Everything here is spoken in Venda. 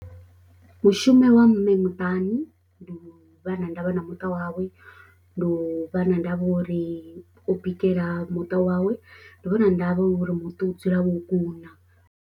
Mushumu wa mme muṱani ndi u vha na ndavha na muṱa wawe, ndi u vha na ndavha uri o bikela muṱa wawe, ndi u vha na ndavha uri muṱa u dzula wo kuna.